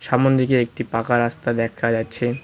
সাম্নের দিকে একটি পাকা রাস্তা দেখা যাচ্ছে।